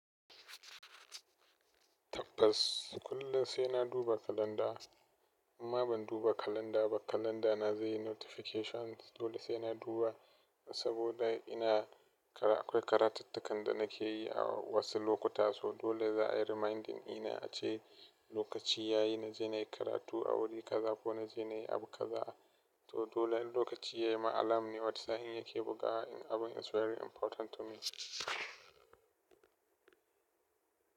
Tabbas kullum sai na duba kalanda in ma ban duba kalanda ba kalanda na zai yi notifications dole sai na duba saboda ina kara akwai karatuttuka dana keyi a wasu lokuta so dole za a yi reminding ɗina a ce lokaci ya yi na je na yi karatu a wuri kaza ko na je na yi abu kaza. To dole lokaci ya yi ma alam ne wani sa'in yake bugawa in abun is very important to me.